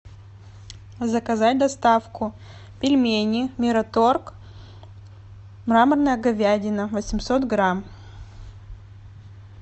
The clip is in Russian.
заказать доставку пельмени мираторг мраморная говядина восемьсот грамм